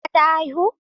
Amina ta haifu?